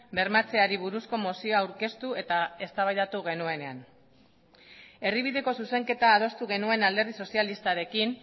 bermatzeari buruzko mozioa aurkeztu eta eztabaidatu genuenean erdibideko zuzenketa adostu genuen alderdi sozialistarekin